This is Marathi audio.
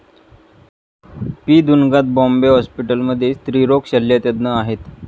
पी दुन्गात बॉम्बे हॉस्पिटलमध्ये स्त्रीरोग शल्यतज्ञ आहेत.